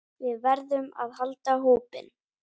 Við verðum að halda hópinn!